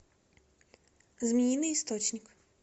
змеиный источник